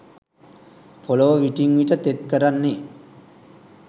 පොලව විටින් විට තෙත් කරන්නේ